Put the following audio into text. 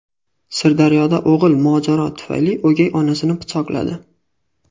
Sirdaryoda o‘g‘il mojaro tufayli o‘gay onasini pichoqladi.